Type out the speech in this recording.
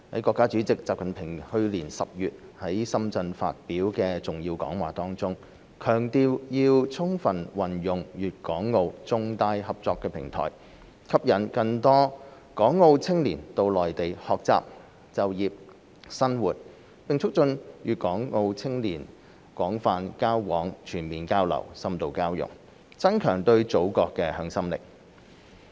國家主席習近平去年10月在深圳發表的重要講話中，強調要充分運用粵港澳重大合作平台，吸引更多港澳青年到內地學習、就業、生活，並促進粵港澳青少年廣泛交往、全面交流、深度交融，增強對祖國的向心力。